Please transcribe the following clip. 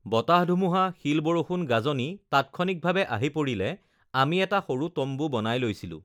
বতাহ-ধুমুহা, শিল-বৰষুণ, গাজনি তাৎক্ষণিকভাৱে আহি পৰিলে আমি এটা সৰু তম্বু বনাই লৈছিলোঁ